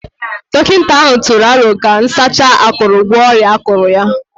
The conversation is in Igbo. Dọkịta ahụ tụrụ aro ka nsacha akuru gwọọ ọrịa akụrụ ya